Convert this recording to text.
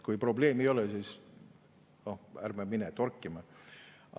Kui probleemi ei ole, siis ärme läheme torkima.